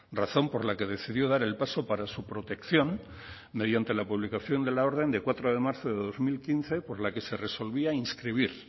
razón por la que decidió dar el paso para su protección mediante la publicación de la orden de cuatro de marzo de dos mil quince por la que se resolvía inscribir